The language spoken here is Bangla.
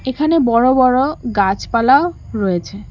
এখানে বড়ো বড়ো গাছপালাও রয়েছে।